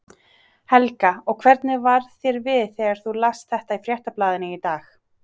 Helga: Og hvernig varð þér við þegar þú last þetta í Fréttablaðinu í dag?